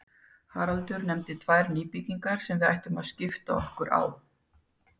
Haraldur nefndi tvær nýbyggingar sem við ættum að skipta okkur á.